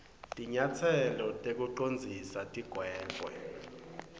tinyatselo tekucondzisa tigwegwe